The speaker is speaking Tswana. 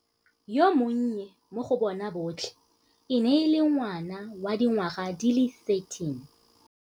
Yo monnye mo go bona botlhe e ne e le ngwana wa dingwaga di le 13.